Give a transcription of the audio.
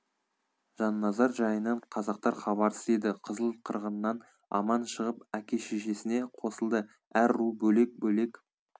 жанназар жайынан қазақтар хабарсыз еді қызыл қырғыннан аман шығып әке шешесіне қосылды әр ру бөлек бөлек